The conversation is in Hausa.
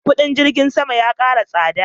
kudin jirgin sama ya kara tsada